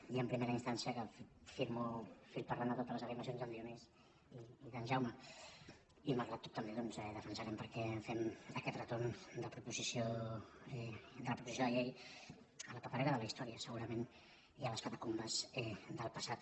dir en primera instància que firmo fil per randa totes les afirmacions d’en dionís i d’en jaume i malgrat tot també doncs defensarem per què fem aquest retorn de proposició de llei a la paperera de la història segurament i a les catacumbes del passat